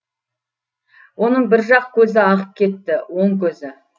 оның бір жақ көзі ағып кетті оң көзі